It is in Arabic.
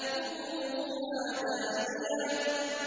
قُطُوفُهَا دَانِيَةٌ